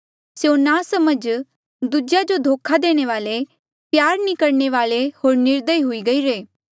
स्यों नासमझ दूजेया जो धोखा देणे वाले प्यार नी करणे वाले होर निर्दयी हुई गईरे